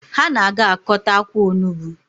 Ha na-aga akọta akwa onugbu